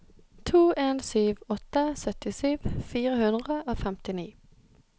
to en sju åtte syttisju fire hundre og femtini